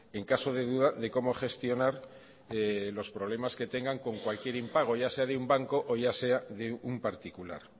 en caso de duda de cómo gestionar los problemas que tengan con cualquier impago ya sea de un banco o ya sea de un particular